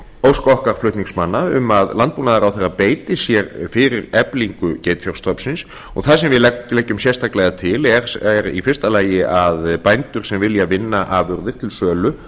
ósk okkar flutningsmanna um að landbúnaðarráðherra beiti sér fyrir eflingu geitfjárstofnsins og það sem við leggjum sérstaklega til er í fyrsta lagi að bændur sem vilja vinna afurðir til sölu